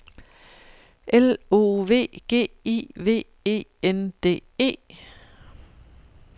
L O V G I V E N D E